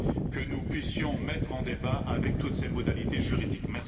que nous puissions mettre en débat avec toutes ses modalités juridiques.